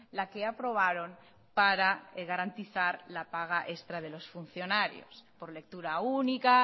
la que aprobaron para garantizar la paga extra de los funcionarios por lectura única